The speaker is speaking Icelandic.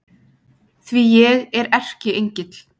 Því að ég er Erkiengill